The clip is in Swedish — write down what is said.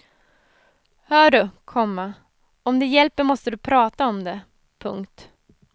Hör du, komma om det hjälper måste du prata om det. punkt